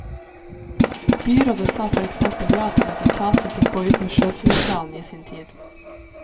Byrådet sa for eksempel ja til at etaten fikk gå ut med sjøsideplanen i sin tid.